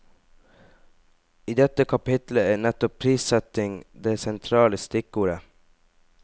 I dette kapittelet er nettopp prissetting det sentrale stikkordet.